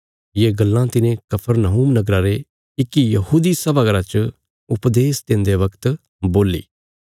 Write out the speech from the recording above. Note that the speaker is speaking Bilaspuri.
ये गल्लां तिने कफरनहूम नगरा रे इक्की यहूदी सभा घर च उपदेश देन्दे बगत बोल्ली